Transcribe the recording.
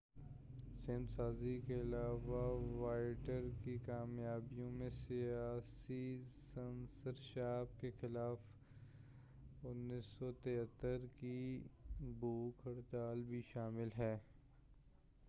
سمت سازی کے علاوہ واوٹیئر کی کامیابیوں میں سیاسی سنسرشپ کے خلاف 1973 کی بھوک ہڑتال بھی شامل ہے